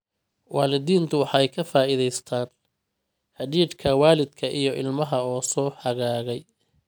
Waalidiintu waxay ka faa'iidaystaan ??xidhiidhka waalidka iyo ilmaha oo soo hagaagay.